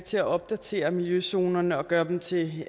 til at opdatere miljøzonerne og gøre dem til det